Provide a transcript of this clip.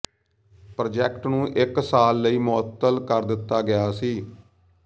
project ਨੂੰ ਇੱਕ ਸਾਲ ਲਈ ਮੁਅੱਤਲ ਕਰ ਦਿੱਤਾ ਗਿਆ ਸੀ